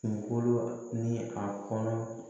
Kunkolo ni a kɔnɔ